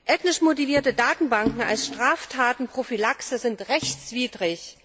Ethnisch motivierte Datenbanken als Straftatenprophylaxe sind rechtswidrig.